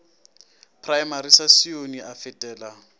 praemari sa sione a fetela